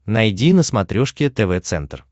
найди на смотрешке тв центр